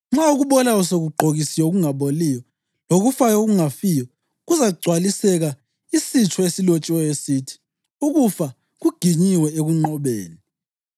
Nxa okubolayo sekugqokiswe okungaboliyo, lokufayo okungafiyo, kuzagcwaliseka isitsho esilotshiweyo esithi: “Ukufa kuginyiwe ekunqobeni.” + 15.54 U-Isaya 25.8